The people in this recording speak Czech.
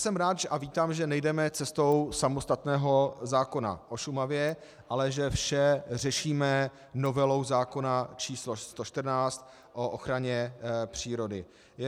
Jsem rád a vítám, že nejdeme cestou samostatného zákona o Šumavě, ale že vše řešíme novelou zákona č. 114 o ochraně přírody.